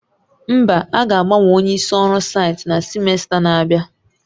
Mba, a ga-agbanwe onye isi ọrụ site na simesta na-abịa